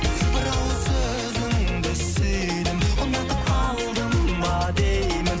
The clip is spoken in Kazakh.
бір ауыз сөзіңді сүйдім ұнатып қалдым ба деймін